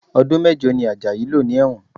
Ọdún mẹ́jọ ni Ajayi lò ní ẹ̀wọ̀n